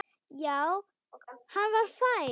Já, hann var fær!